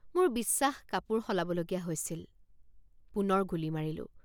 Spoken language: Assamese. মোৰ বিশ্বাস কাপোৰ সলাবলগীয়া হৈছিল। মোৰ বিশ্বাস কাপোৰ সলাবলগীয়া হৈছিল। পুনৰ গুলী মাৰিলোঁ।